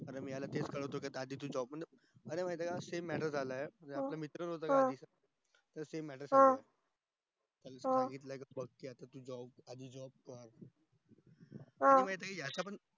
याला मी तेच कळवतो आधी job लाग अरे माहित ये का same matter झालाय अं आमचा मित्र होता एक त्याला सांगितलं आधी job कर आणि माहित ये अश्या पण